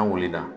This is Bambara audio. An wulila